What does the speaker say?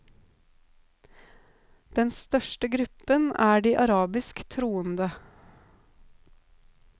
Den største gruppen er de arabisk troende.